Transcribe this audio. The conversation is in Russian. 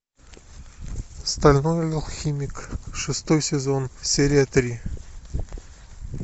стальной алхимик шестой сезон серия три